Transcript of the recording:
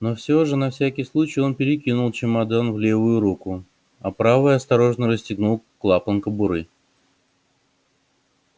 но всё же на всякий случай он перекинул чемодан в левую руку а правой осторожно расстегнул клапан кобуры